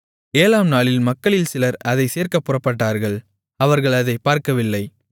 ஏழாம்நாளில் மக்களில் சிலர் அதைச் சேர்க்கப் புறப்பட்டார்கள் அவர்கள் அதைப் பார்க்கவில்லை